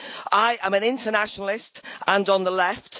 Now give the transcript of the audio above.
I am an internationalist and on the left.